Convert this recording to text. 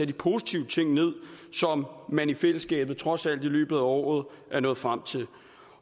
de positive ting med som man i fællesskab trods alt i løbet af året er nået frem til